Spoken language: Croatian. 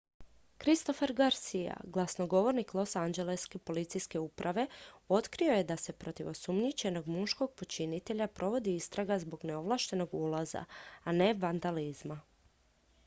christopher garcia glasnogovornik losanđeleške policijske uprave otkrio je da se protiv osumnjičenog muškog počinitelja provodi istraga zbog neovlaštenog ulaza a ne vandalizma